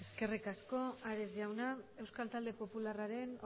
eskerrik asko ares jauna euskal talde popularraren